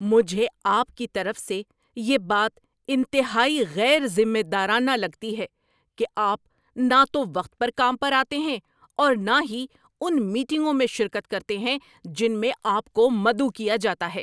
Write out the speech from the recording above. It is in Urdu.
مجھے آپ کی طرف سے یہ بات انتہائی غیر ذمہ دارانہ لگتی ہے کہ آپ نہ تو وقت پر کام پر آتے ہیں اور نہ ہی ان میٹنگوں میں شرکت کرتے ہیں جن میں آپ کو مدعو کیا جاتا ہے۔